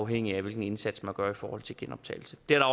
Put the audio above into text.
hvilken indsats man gør i forhold til genoptagelse det har